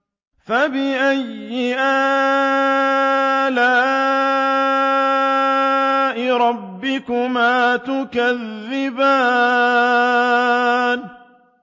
فَبِأَيِّ آلَاءِ رَبِّكُمَا تُكَذِّبَانِ